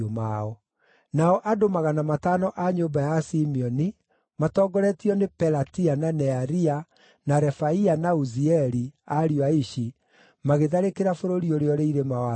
Nao andũ magana matano a nyũmba ya Simeoni, matongoretio nĩ Pelatia, na Nearia, na Refaia na Uzieli, ariũ a Ishi, magĩtharĩkĩra bũrũri ũrĩa ũrĩ irĩma wa Seiru.